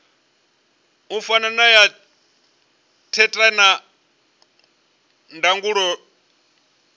fana na ya theta ndangulo